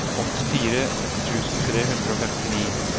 åttifire tusen tre hundre og femtini